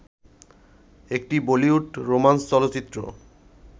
একটি বলিউড রোমান্স চলচ্চিত্র